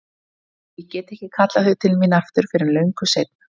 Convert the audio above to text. Og ég get ekki kallað þau til mín aftur fyrr en löngu seinna.